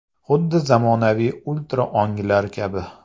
Xuddi zamonaviy ultra o‘nglar kabi.